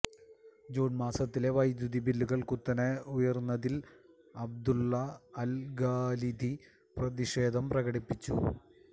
June മാസത്തിലെ വൈദ്യുതി ബില്ലുകൾ കുത്തനെ ഉയർന്നതിൽ അബ്ദുല്ല അൽഖാലിദി പ്രതിഷേധം പ്രകടിപ്പിച്ചു